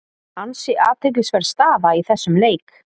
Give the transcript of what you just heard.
Ansi athyglisverð staða í þessum leik.